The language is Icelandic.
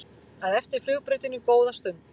að eftir flugbrautinni góða stund.